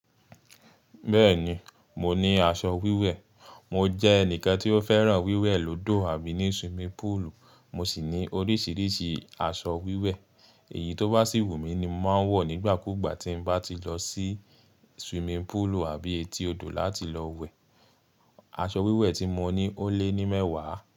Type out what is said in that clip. Bẹ́ẹ̀ni, mo ní aṣọ wíwẹ̀. Mo jẹ́ ẹnìkan tí ó fẹ́ràn wíwẹ̀ lódò àbí ní swimming pool. Mo sì ní oríṣiríṣi aṣọ wíwẹ̀. Èyí tó bá sì wù mí ni màá ń wọ̀ nígbàkúgbà tí n bá ti lọ sí swimming puulu àbí etí odò láti lọ wẹ̀. Aṣọ wíwẹ̀ tí mo ní ó lé ní mẹ́wàá.